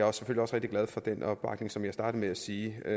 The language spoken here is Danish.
også rigtig glad for den opbakning som jeg startede med at sige der